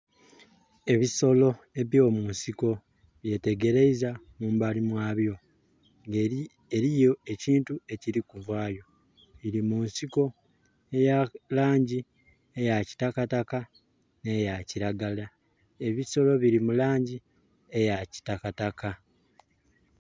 Ebisolo ebya mu nsiko byetegereiza mumbali mwa byo nga eriyo ekintu ekiri ku vayo, biri munsiko eya langi eya kitakataka ne ya kiragala ebisolo biri mu langi eya kitakataka.